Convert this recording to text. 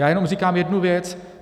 Já jenom říkám jednu věc.